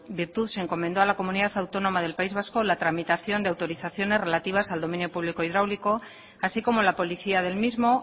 virtud se encomendó a la comunidad autónoma del país vasco la tramitación de autorizaciones relativas al dominio público hidráulico así como la policía del mismo